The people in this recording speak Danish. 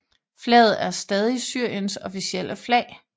Flaget er stadig Syriens officielle flag